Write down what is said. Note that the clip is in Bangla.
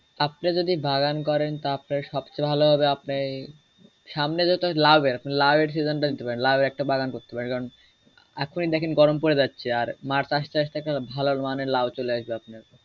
আপনি যদি বাগান করেন তা আপনার সবচেয়ে ভালো হবে আপনি সামনে যেটা লাউয়ের আপনি লাউয়ের segen টা দিতে পারেন লাউয়ের একটা বাগান করতে পারেন কারণ এখুনি দেখেন গরম পড়ে যাচ্ছে আর মার্চ আস্তে আস্তে আপনার ভালো মানের লাউ চলে আসবে আপনার।